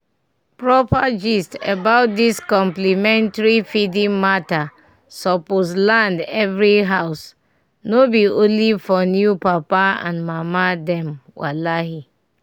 proper gist about dis complementary feeding mata suppose land every house no be only for new papa and mama dem walahi!